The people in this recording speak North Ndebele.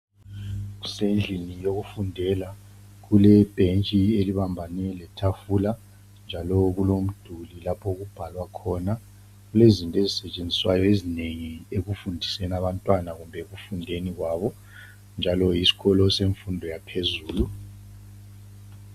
Kusendlini yakufundela, kulebhentshi elibambane letafula, njalo kulomduli lapho okubhalwa khona. Kulezinto ezisetshenziswayo ezinengi ekufundiseni abantwana kumbe ekufundeni kwabo, njalo yisikolo semfundo yaphezulu.